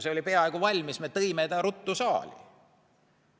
See oli peaaegu valmis, me tõime ta ruttu saali.